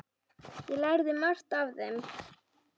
Ég lærði margt af þeim.